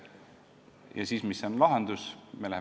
Ja mis siis lahendus on?